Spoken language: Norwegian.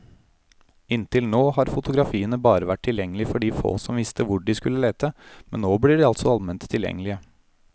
Inntil nå har fotografiene bare vært tilgjengelige for de få som visste hvor de skulle lete, men nå blir de altså alment tilgjengelige.